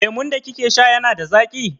Lemun da kike sha yana da zaƙi?